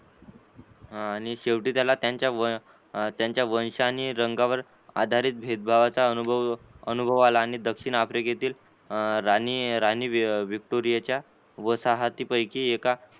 हा आणि शेवटी त्याला त्यांच्या त्यांच्या वंश आणि रंगावर आधारित भेदभावाचा अनुभव अनुभव आला आणि दक्षिण आफ्रिकेतील राणी राणी विक्टोरिया च्या वसाहतीपैकी एका